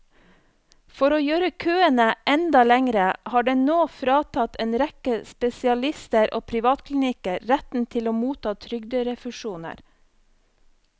For å gjøre køene enda lengre har den nå fratatt en rekke spesialister og privatklinikker retten til å motta trygderefusjoner.